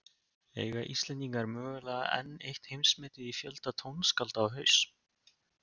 Eiga Íslendingar mögulega enn eitt heimsmetið í fjölda tónskálda á haus?